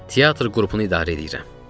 "Teatr qrupunu idarə eləyirəm."